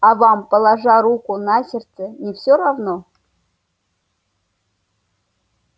а вам положа руку на сердце не всё равно